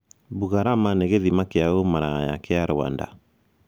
Bugarama nĩ 'gĩthima kĩa ũmaraya' kĩa Rwanda